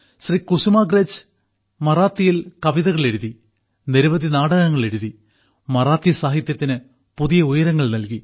ശ്രീ കുസുമാഗ്രജ് മറാത്തിയിൽ കവിതകൾ എഴുതി നിരവധി നാടകങ്ങൾ എഴുതി മറാത്തി സാഹിത്യത്തിന് പുതിയ ഉയരങ്ങൾ നൽകി